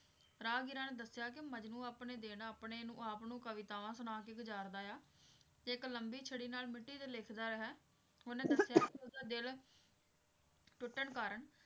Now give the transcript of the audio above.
ਰਾਹਗੀਰਾਂ ਨੇ ਦੱਸਿਆ ਕੇ ਮਜਨੂੰ ਆਪਣੇ ਦਿਨ ਆਪਣੇ ਆਪ ਨੂੰ ਕਵਿਤਾਵਾਂ ਸੁਣਾ ਕੇ ਗੁਜ਼ਾਰਦਾ ਵਾ ਤੇ ਇੱਕ ਲੰਬੀ ਛੜੀ ਨਾਲ ਮਿੱਟੀ ਤੇ ਲਿਖਦਾ ਹੈ ਉਹਨੇ ਦਸਿਆ ਕੇ ਉਹਦਾ ਦਿਲ ਟੁੱਟਣ ਕਾਰਣ